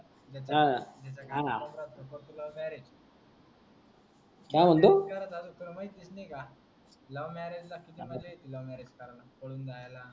हा हा. कर तू love marriage काय म्हणतो. लय बेकार झाल तुला माहीत बिहित नाही का love marriage लपून ठेवन love marriage कारण पडून जायला.